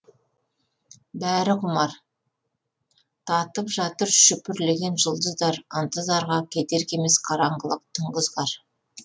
бәрі құмар тамып жатыр шүпірлеген жұлдыздар ынтызарға кедергі емес қараңғылық түнгі ызғар